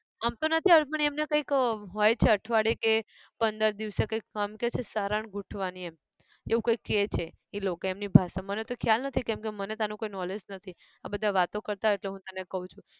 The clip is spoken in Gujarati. આમ તો નથી આવતું પણ એમને કંઈક હોય છે અઠવાડિયે કે પંદર દિવસે કંઈક સારણ ગૂંથવાની એમ, એવું કંઈક કેહ છે એ લોકો એમની ભાષા મને તો ખ્યાલ નથી કેમકે મને તો આનું કોઈ knowledge નથી આ બધા વાતો કરતા હોય એટલે હું તને કહું છું.